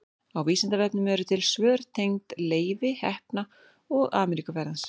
á vísindavefnum eru til mörg svör tengd leifi heppna og ameríkuferð hans